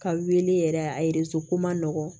Ka wele yɛrɛ a ko man nɔgɔn